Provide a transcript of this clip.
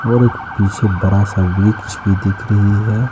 और एक पीछे बड़ा सा वृक्ष भी दिख रही है।